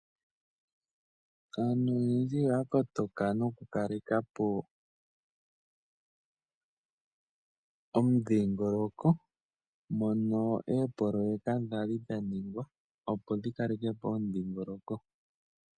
Aantu oyendji oyakotoka nokukalekapo omudhingoloko mono eepoloyeka dhali dhaningwa opo dhikalekepo omudhingoloko.